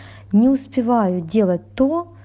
не успеваю делать-то